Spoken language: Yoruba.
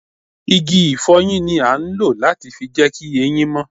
Igi ifoyin ni a ń lọ láti fi jẹ ki ẹyin mó